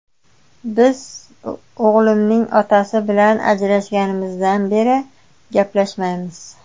Biz o‘g‘limning otasi bilan ajrashganimizdan beri gaplashmaymiz.